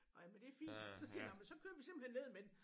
Orh ja men det er fint så siger jeg nåh men så kører vi simpelthen ned med den